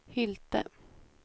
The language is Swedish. Hylte